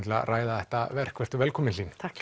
til að ræða þetta verk velkomin